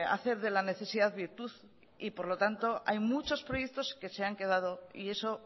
hacer de la necesidad virtud y por lo tanto hay muchos proyectos que se han quedado y eso